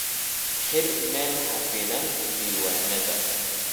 Xir meel xafidan diiwaannadaada.